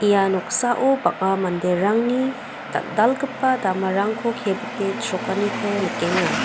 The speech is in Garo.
ia noksao bang·a manderangni dal·dalgipa damarangko kebite chrokaniko nikenga.